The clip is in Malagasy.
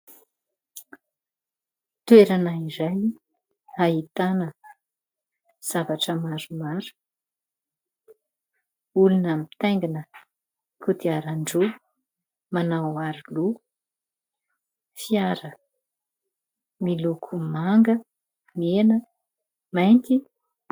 Toerana iray ahitana zavatra maromaro. Olona mitaingana kodiaran-droa manao aro loha. Fiara miloko manga, mena ary mainty.